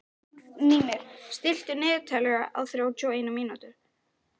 Mímir, stilltu niðurteljara á þrjátíu og eina mínútur.